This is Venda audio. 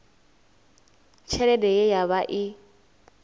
tshelede ye ya vha i